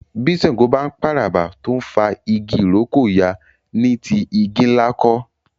bí ṣàngó ń p'àràbà tó ń fà ìrókò yá ní tí igi-nla kò